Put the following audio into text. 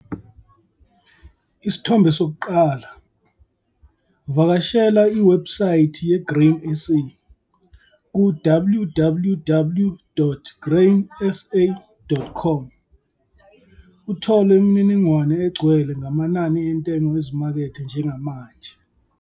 Isithombe 1 - Vakashela iwebhusayithi ye-Grain SA, ku-www.grainsa.com, uthole imininingwane egcwele ngamanani entengo ezimakethe njengamanje.